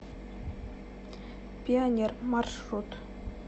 пионер маршрут